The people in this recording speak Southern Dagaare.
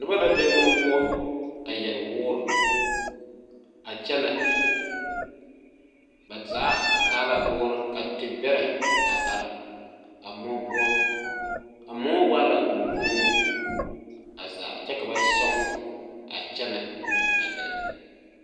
Noba la be moɔ poɔ a yɛre woore a kyɛnɛ ba zaa a taa la woorre ka te bɛrɛ a are a moɔ poɔ a moɔ waala mɔkooɔmo a zaa kyɛ ka tɔŋ a kyɛnɛ a gɛrɛ.